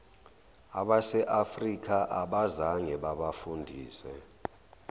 baseafrika abazange babafundise